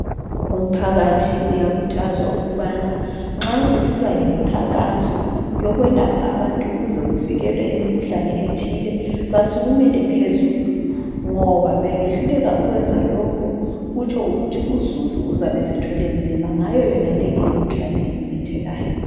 Umphakathi uyakhuthazwa ukubana nxa kusiba lemikhankaso yokwelapha abantu ukuze kuvikelwe imikhuhlane ethile basukumele phezulu ngoba bengehluleka ukwenza lokho kutsho ukuthi uzulu uzabe esethwele nzima ngayo imikhuhlane ememethekayo.